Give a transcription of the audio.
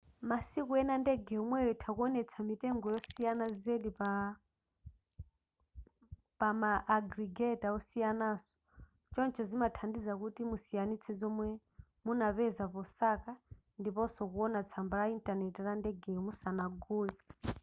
masiku ena ndege yomweyo itha kuwonetsa mitengo yosiyana zedi pa ma agregator osiyanaso choncho zimathandiza kuti musiyanitse zomwe munapeza posaka ndiponso kuwona tsamba la intanenti la ndegeyo musanagule